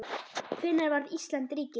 Hvenær varð Ísland ríki?